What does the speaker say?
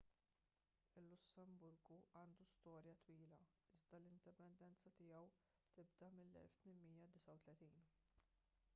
il-lussemburgu għandu storja twila iżda l-indipendenza tiegħu tibda mill-1839